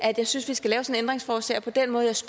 jeg synes vi skal lave sådan et ændringsforslag